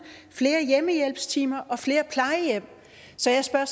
flere hjemmehjælpstimer og flere plejehjem så jeg spørger